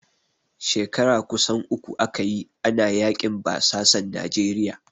Shekara kusan uku aka yi, ana yaƙin basasan Nijeriya.